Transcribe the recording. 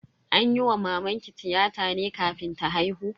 An yi wa mamanki tiyata ne kafin ta haihu?